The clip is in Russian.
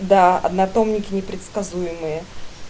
да однотомники непредсказуемые